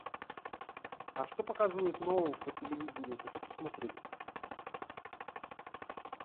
а что показывают нового по телевидению хочу посмотреть